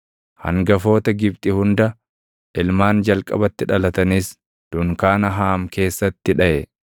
Hangafoota Gibxi hunda, ilmaan jalqabatti dhalatanis dunkaana Haam keessatti dhaʼe.